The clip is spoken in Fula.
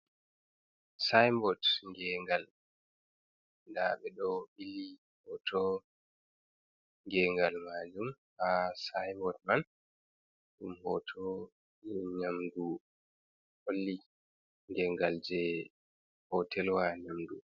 "Seinbot" ngengal nɗa ɓeɗo ɓili hoto ngengal majum ha seinbot man ɗum hoto je nyamɗu holli ngengal je hotelwa nyamdu.